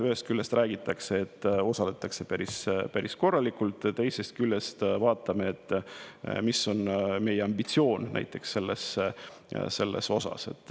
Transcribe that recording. Ühest küljest räägitakse, et osaletakse päris korralikult, teisest küljest vaatame, mis on näiteks meie ambitsioon.